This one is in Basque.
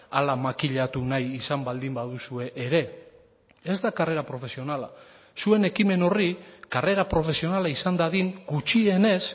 hala makilatu nahi izan baldin baduzue ere ez da karrera profesionala zuen ekimen horri karrera profesionala izan dadin gutxienez